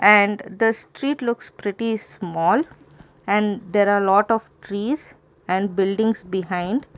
and the street looks pretty small and there are a lot of trees and buildings behind.